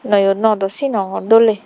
noyo no dow sinongor doley.